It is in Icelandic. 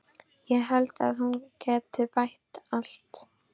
Ég held að hún geti bætt allt.